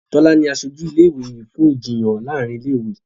Tola ní asojú ilé ìwé yí fún Ìjiyàn láàrin ilé ìwé.